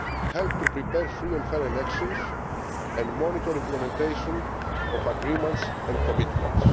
help to prepare free and fair elections and monitor implementation of agreements and commitments.